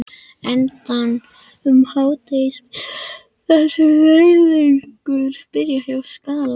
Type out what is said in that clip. Enda um hádegisbilið þar sem leiðangurinn byrjaði, hjá Skalla.